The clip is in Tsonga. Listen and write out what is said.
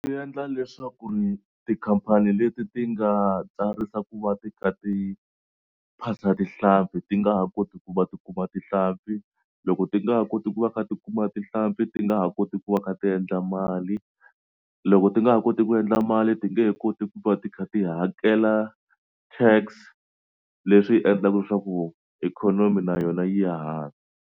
Swi endla leswaku tikhampani leti ti nga tsarisa ku va ti kha ti phasa tihlampfi ti nga ha koti ku va ti kuma tihlampfi. Loko ti nga ha koti ku va kha ti kuma tihlampfi ti nga ha koti ku va kha ti endla mali loko ti nga ha koti ku endla mali ti nge he koti ku va ti kha ti hakela tax leswi endlaka leswaku ikhonomi na yona yi ya hansi.